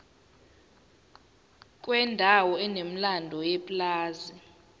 kwendawo enomlando yepulazi